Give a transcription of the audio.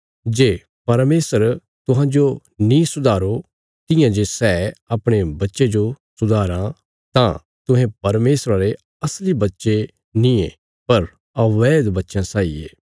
जे परमेशर तुहांजो नीं सुधारो तियां जे सै अपणे बच्चे जो सुधाराँ तां तुहें परमेशरा रे असली बच्चे नींये पर अबैध बच्चे साई ये